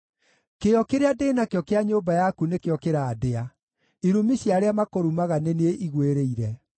kĩyo kĩrĩa ndĩ nakĩo kĩa nyũmba yaku nĩkĩo kĩrandĩa, irumi cia arĩa makũrumaga nĩ niĩ igũĩrĩire.